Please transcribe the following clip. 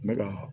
N bɛ ka hɔ